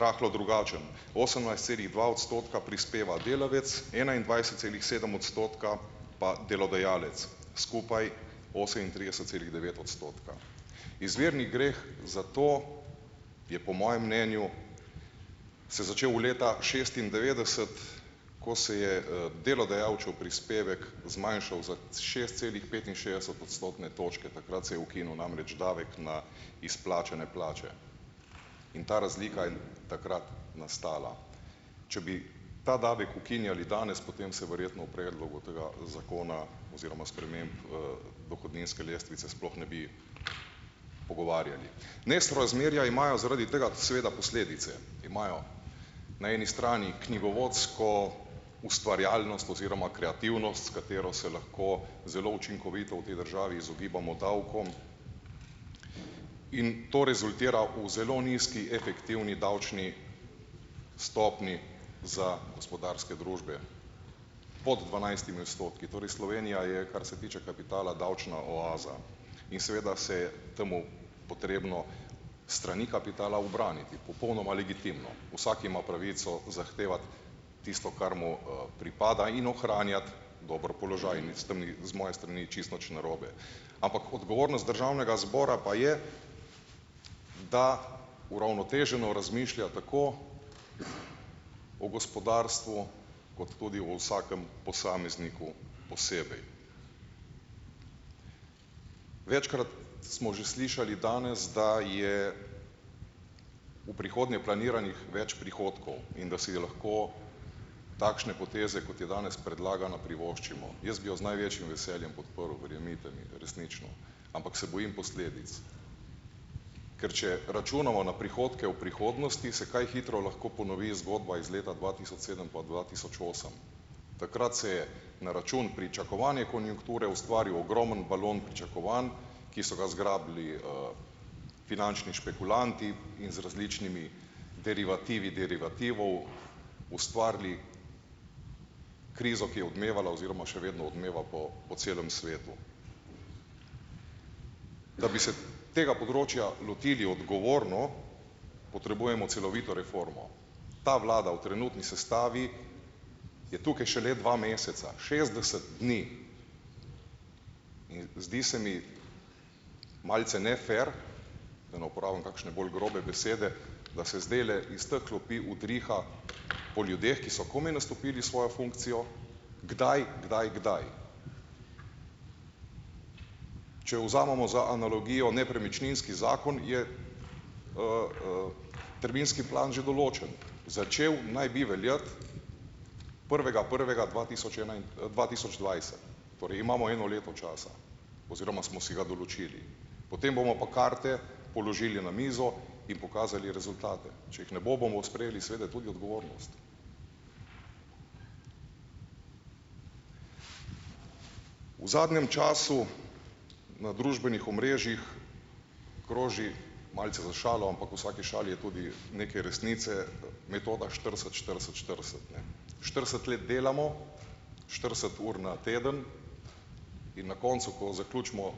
rahlo drugačen: osemnajst celih dva odstotka prispeva delavec, enaindvajset celih sedem odstotka pa delodajalec, skupaj osemintrideset celih devet odstotka. Izvirni greh za to je po mojem mnenju se začel leta šestindevetdeset, ko se je, delodajalčev prispevek zmanjšal za šest celih petinšestdeset odstotne točke, takrat se je ukinil namreč davek na izplačane plače in ta razlika je takrat nastala. Če bi ta davek ukinjali danes, potem se verjetno v predlogu tega zakona oziroma sprememb, dohodninske lestvice sploh ne bi pogovarjali. Nesorazmerja imajo zaradi tega seveda posledice. Imajo na eni strani knjigovodsko ustvarjalnost oziroma kreativnost, s katero se lahko zelo učinkovito v tej državi izogibamo davkom in to rezultira v zelo nizki efektivni davčni stopnji za gospodarske družbe pod dvanajstimi odstotki. Torej Slovenija je, kar se tiče kapitala, davčna oaza in seveda se je temu potrebno s strani kapitala ubraniti popolnoma legitimno. Vsak ima pravico zahtevati tisto, kar mu, pripada in ohranjati dober položaj in s tem ni z moje strani čisto nič narobe. Ampak odgovornost državnega zbora pa je, da uravnoteženo razmišlja tako o gospodarstvu kot tudi o vsakem posamezniku posebej. Večkrat smo že slišali danes, da je v prihodnje planiranih več prihodkov in da si je lahko takšne poteze, kot je danes predlagana, privoščimo. Jaz bi jo z največjim veseljem podprl, verjemite mi resnično, ampak se bojim posledic. Ker če računamo na prihodke v prihodnosti, se kaj hitro lahko ponovni zgodba iz leta dva tisoč sedem pa dva tisoč osem. Takrat se je na račun pričakovane konjunkture ustvaril ogromen balon pričakovanj, ki so ga zgrabili, finančni špekulanti in z različnimi derivativi derivativov. Ustvarili krizo, ki je odmevala oziroma še vedno odmeva po po celem svetu. Da bi se tega področja lotili odgovorno, potrebujemo celovito reformo. Ta vlada v trenutni sestavi je tukaj šele dva meseca, šestdeset dni in zdi se mi malce nefer, da ne uporabim kakšne bolj grobe besede, da se zdajle iz teh klopi udriha po ljudeh, ki so komaj nastopili svojo funkcijo: kdaj, kdaj, kdaj. Če vzamemo za analogijo nepremičninski zakon, je terminski plan že določen. Začel naj bi veljati prvega prvega dva tisoč dva tisoč dvajset, torej imamo eno leto časa oziroma smo si ga določili, potem bomo pa karte položili na mizo in pokazali rezultate. Če jih ne bo, bomo sprejeli seveda tudi odgovornost. V zadnjem času na družbenih omrežjih kroži malce za šalo, ampak v vsaki šali je tudi nekaj resnice, metoda štirideset štirideset štirideset, ne. štirideset let delamo, štirideset ur na teden in na koncu, ko zaključimo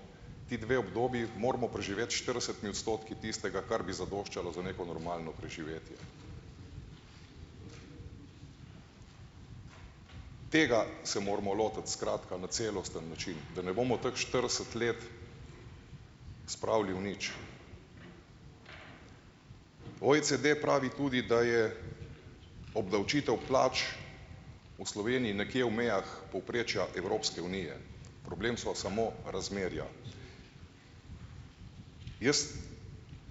ti dve obdobji, moramo preživeti s štiridesetimi odstotki tistega, kar bi zadoščalo za neko normalno preživetje. Tega se moramo lotiti skratka na celosten način, da ne bomo teh štirideset let spravili v nič. OECD pravi tudi, da je obdavčitev plač v Sloveniji nekje v mejah povprečja Evropske unije, problem so samo razmerja. Jaz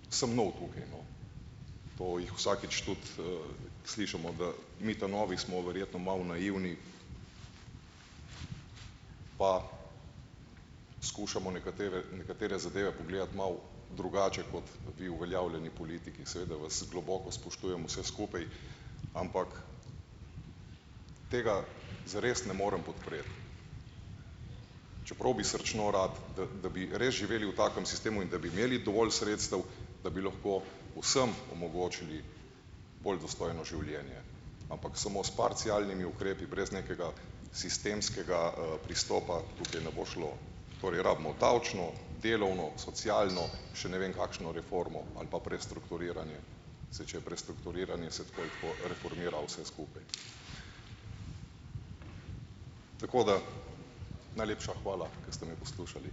sem nov tukaj, no, to jih vsakič tudi, slišim od, mi ta novi smo verjetno malo naivni pa skušamo nekatere nekatere zadeve pogledati malo drugače, kot vi, uveljavljeni politiki, in seveda vas globoko spoštujem vse skupaj, ampak tega zares ne morem podpreti. Čeprav bi srčno rad, da da bi res živeli v takem sistemu in da bi imeli dovolj sredstev, da bi lahko vsem omogočili bolj dostojno življenje, ampak samo s parcialnimi ukrepi brez nekega sistemskega, pristopa tukaj ne bo šlo. Torej, rabimo davčno, delovno, socialno, še ne vem kakšno reformo ali pa prestrukturiranje. Saj če je prestrukturiranje, se tako in tako reformira vse skupaj. Tako da, najlepša hvala, da ste me poslušali.